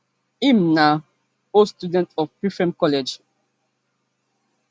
im na old student of prempeh college